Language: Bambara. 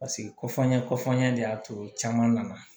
Paseke ko f'an ɲɛ kɔfanɲɛ de y'a to caman nana